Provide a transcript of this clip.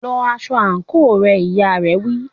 Lọ aṣọ àǹkóò rẹ, ìyá rẹ̀ wí.